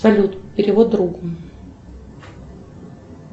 салют перевод другу